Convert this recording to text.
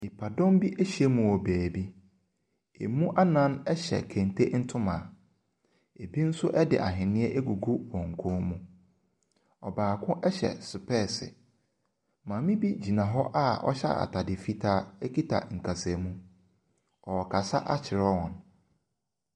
Nipadɔm bi ahyia mu wɔ baabi. Ɛmu anan hyɛ kente ntoma. Ɛbi nso de ahweneɛ agugu wɔn kɔn mu. Ɔbaako hyɛ sopɛɛse. Maame bi gyina hɔ a ɔhyɛ atade fitaa kita nkasamu. Ɔrekasa akyerɛ wɔn.